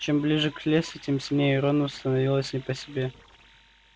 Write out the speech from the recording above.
чем ближе к лесу тем сильнее рону становилось не по себе